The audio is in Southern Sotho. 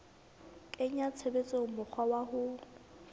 kenya tshebetsong mokgwa wa ho